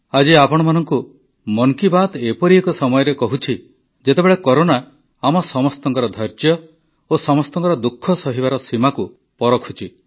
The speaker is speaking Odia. ଆଜି ଆପଣମାନଙ୍କୁ ମନ୍ କି ବାତ୍ ଏପରି ଏକ ସମୟରେ କହୁଛି ଯେତେବେଳେ କରୋନା ଆମ ସମସ୍ତଙ୍କର ଧୈର୍ଯ୍ୟ ଓ ସମସ୍ତଙ୍କର ଦୁଃଖ ସହିବାର ସୀମାକୁ ପରଖୁଛି